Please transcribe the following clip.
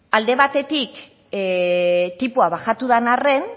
alde batetik tipoa bajatu den arren